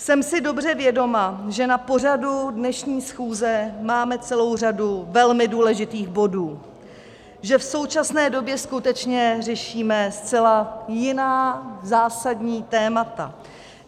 Jsem si dobře vědoma, že na pořadu dnešní schůze máme celou řadu velmi důležitých bodů, že v současné době skutečně řešíme zcela jiná zásadní témata.